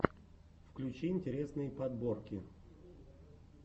включи интересные подборки